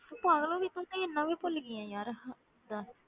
ਤੂੰ ਪਾਗਲ ਹੋ ਗਈ ਤੂੰ ਤੇ ਇੰਨਾ ਵੀ ਭੁੱਲ ਗਈ ਹੈ ਯਾਰ, ਹੱਦ ਹੈ।